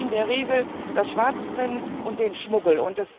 Das fördert in der Regel das Schwarzbrennen und den Schmuggel.